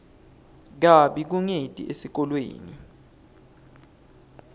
kabi kungeti esikolweni